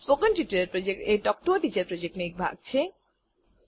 spoken tutorial project એ talk to a teacher પ્રોજેક્ટનો એક ભાગ છે